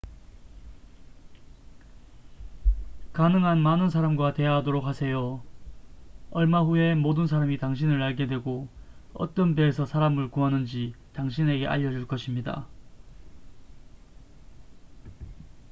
가능한 많은 사람과 대화하도록 하세요 얼마 후에 모든 사람이 당신을 알게 되고 어떤 배에서 사람을 구하는지 당신에게 알려줄 것입니다